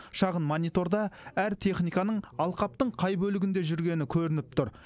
шағын мониторда әр техниканың алқаптың қай бөлігінде жүргені көрініп тұр